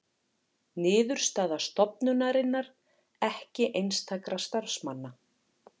Niðurstaða stofnunarinnar ekki einstakra starfsmanna